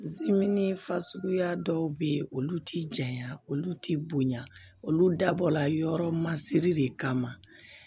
fasuguya dɔw bɛ yen olu ti janya olu t'i bonya olu dabɔ la yɔrɔ masiri de kama